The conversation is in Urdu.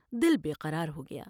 دل بے قرار ہو گیا ۔